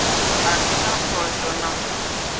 a si na phosho na